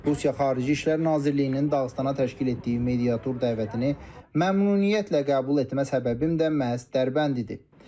Rusiya Xarici İşlər Nazirliyinin Dağıstana təşkil etdiyi mediatur dəvətini məmnuniyyətlə qəbul etmə səbəbim də məhz Dərbənd idi.